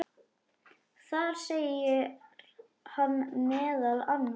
Þar segir hann meðal annars